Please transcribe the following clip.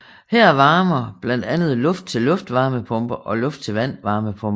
Her varmer blandt andet luft til luft varmepumper og luft til vand varmepumper